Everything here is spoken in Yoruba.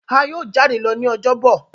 a yíò jade lọ ní Ọjọ́ Bọ̀.